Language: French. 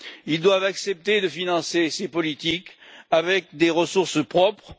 Ils doivent accepter de financer ces politiques avec des ressources propres.